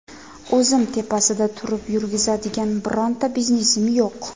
O‘zim tepasida turib yurgizadigan bironta biznesim yo‘q.